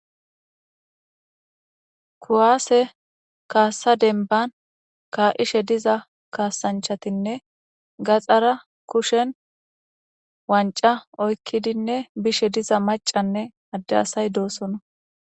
kuwaase kaassa denban kaa7ishe diza kaasanchatinne gaxara kushen wanca oykkidinne bishe diza macanne adde asay doosona